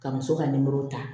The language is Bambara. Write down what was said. Ka muso ka nimoro ta